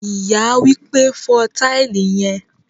Ìyá wípé, "fo tile yen"